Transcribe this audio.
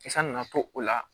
San nana to o la